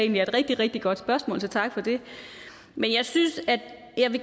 det er et rigtig rigtig godt spørgsmål så tak for det men jeg synes at